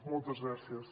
moltes gràcies